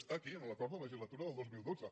està aquí en l’acord de legislatura del dos mil dotze